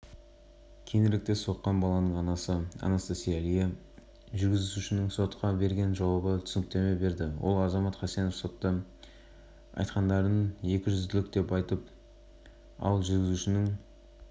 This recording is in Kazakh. жүргізушінің өзі соттағы тергеу кезінде туралы жағдайды баяндай келе оның оқиға кезінде жүргізген көлігі досына тиеселі екендігін алға тартты